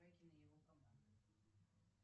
и его команда